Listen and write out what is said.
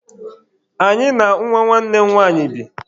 Anyị na nwa nwanne m nwanyị bi..